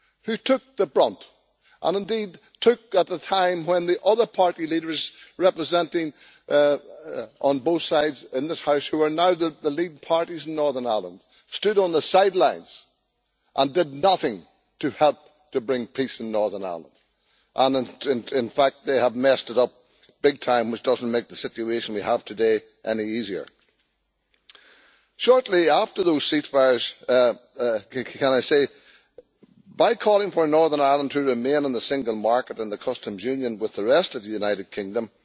They bore the brunt at a time when the other party leaders, represented on both sides in this House, who are now that the lead parties in Northern Ireland, stood on the sidelines and did nothing to help to bring peace in Northern Ireland. In fact, they have messed it up big time, which does not make the situation we have today any easier. Shortly after those ceasefires, by calling for Northern Ireland to remain in the single market and the customs union with the rest of the United Kingdom,